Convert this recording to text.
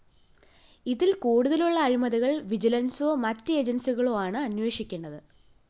ഇതില്‍ കൂടുതലുള്ള അഴിമതികള്‍ വിജിലന്‍സോ മറ്റു ഏജന്‍സികളോ ആണ് അന്വഷിക്കേണ്ടത്